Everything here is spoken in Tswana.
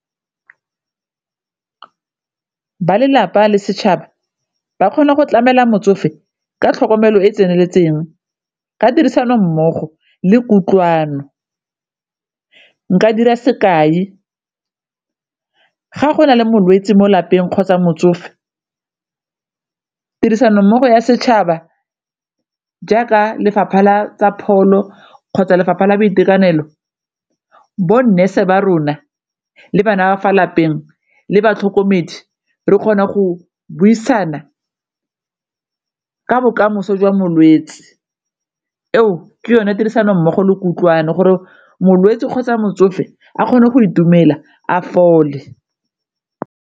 Ba lelapa le setšhaba ba kgona go tlamela motsofe ka tlhokomelo e e tseneletseng ka tirisano mmogo le kutlwano, nka dira sekai ga gona le molwetse mo lapeng kgotsa motsofe tirisano mmogo ya setšhaba jaaka lefapha la tsa pholo kgotsa lefapha la boitekanelo, bo nurse ba rona le bana ba fa lapeng le batlhokomedi re kgona go buisana ka bokamoso jwa molwetse, eo ke yone tirisano mmogo le kutlwano gore molwetse kgotsa motsofe a kgone go itumela a fole.